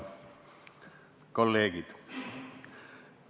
Head kolleegid!